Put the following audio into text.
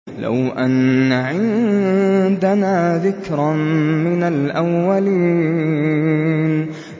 لَوْ أَنَّ عِندَنَا ذِكْرًا مِّنَ الْأَوَّلِينَ